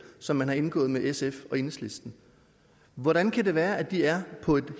som man har indgået med sf og enhedslisten hvordan kan det være at de er på et